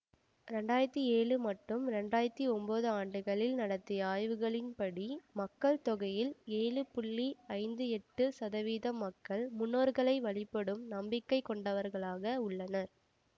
இரண்டு ஆயிரத்தி ஏழு மற்றும் இரண்டு ஆயிரத்தி ஒன்பது ஆண்டுகளில் நடத்திய ஆய்வுகளின்படி மக்கள் தொகையில் ஏழு ஐம்பத்தி எட்டு சதவீதம் மக்கள் முன்னோர்களை வழிபடும் நம்பிக்கை கொண்டவர்களாக உள்ளனர்